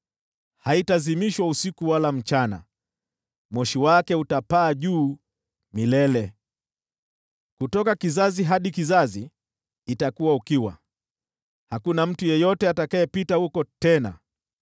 Haitazimishwa usiku wala mchana, moshi wake utapaa juu milele. Kutoka kizazi hadi kizazi itakuwa ukiwa, hakuna mtu yeyote atakayepita huko tena.